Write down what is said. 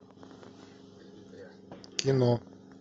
кино